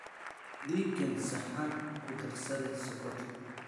Ii keen saxan kudarsade sokoti .